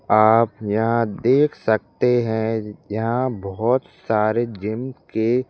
आप यहां देख सकते हैं यहां बहुत सारे जिम के--